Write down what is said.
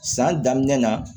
San daminɛ na